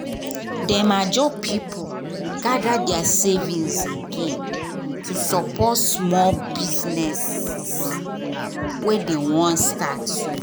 dem ajo people gather their savings again to support small businesses wey dem wan start so